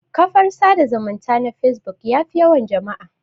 Kafar sada zumunta na facebook yafi yawan jama'a